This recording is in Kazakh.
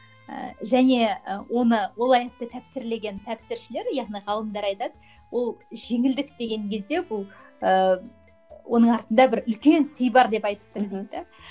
ііі және і оны ол аятты тәпсірлеген тәпсіршілер яғни ғалымдар айтады ол жеңілдік деген кезде бұл ы оның артында бір үлкен сый бар деп айтып тұр дейді де